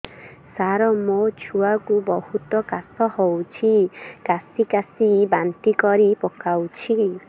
ସାର ମୋ ଛୁଆ କୁ ବହୁତ କାଶ ହଉଛି କାସି କାସି ବାନ୍ତି କରି ପକାଉଛି